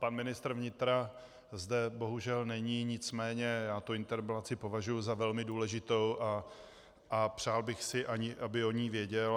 Pan ministr vnitra zde bohužel není, nicméně já tu interpelaci považuji za velmi důležitou a přál bych si, aby o ní věděl.